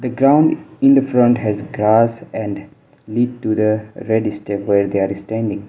the ground in the front has grass and lead to the red step where they are standing.